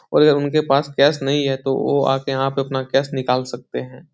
और अगर उनके पास कैश नहीं है तो वो यहाँ पर आकर अपना कैश निकाल सकते हैं।